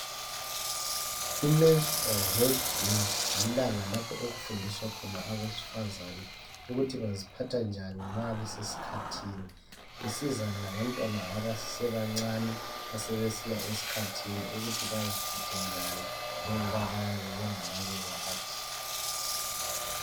Imenstrual health day lilanga lapho okufundiswa khona abesifazana ukuthi baziphatha njani ma besesikhathini. Isiza labantwana abasesebancane asebesiya esikhathini ukuthi baziphathe njani njengoba bayabe bengakabikwazi.